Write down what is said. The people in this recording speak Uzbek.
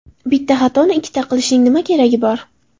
Bitta xatoni ikkita qilishning nima keragi bor?!